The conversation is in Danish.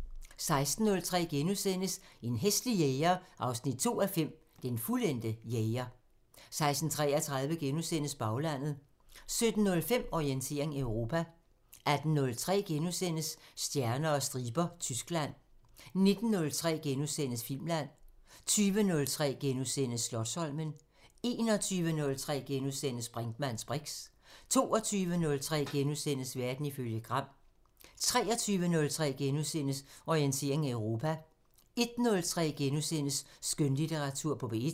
16:03: En hæslig jæger 2:5 – Den fuldendte jæger * 16:33: Baglandet * 17:05: Orientering Europa 18:03: Stjerner og striber – Tyskland * 19:03: Filmland * 20:03: Slotsholmen * 21:03: Brinkmanns briks * 22:03: Verden ifølge Gram * 23:03: Orientering Europa * 01:03: Skønlitteratur på P1 *